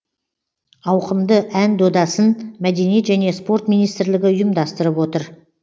ауқымды ән додасын мәдениет және спорт министрлігі ұйымдастырып отыр